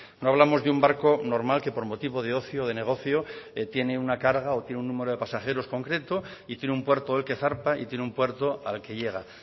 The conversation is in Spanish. no hablamos de un barco normal que por motivo de ocio o de negocio tiene una carga o tienen un número de pasajeros concreto y tiene un puerto del que zarpa y tiene un puerto al que llega